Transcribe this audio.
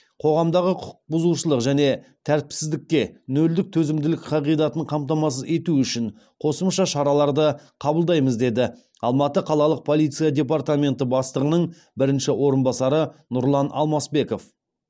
қоғамдағы құқық бұзушылық және тәртіпсіздікке нөлдік төзімділік қағидатын қамтамасыз ету үшін қосымша шараларды қабылдаймыз деді алматы қалалық полиция департаменті бастығының бірінші орынбасары нұрлан алмасбеков